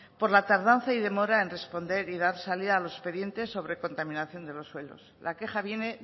por la tardanza y demora en responder y dar salida a los expedientes sobre contaminación de los suelos la queja viene